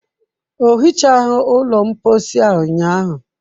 O hichaghị ụlọ mposi a ụnyaahụ.